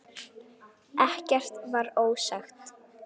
Ekkert var ósagt.